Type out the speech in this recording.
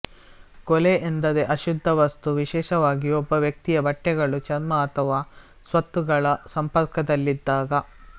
ಕೊಳೆ ಎಂದರೆ ಅಶುದ್ಧ ವಸ್ತು ವಿಶೇಷವಾಗಿ ಒಬ್ಬ ವ್ಯಕ್ತಿಯ ಬಟ್ಟೆಗಳು ಚರ್ಮ ಅಥವಾ ಸ್ವತ್ತುಗಳ ಸಂಪರ್ಕದಲ್ಲಿದ್ದಾಗ